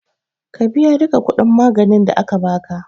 Ka biya duka kuɗin maganin da aka baka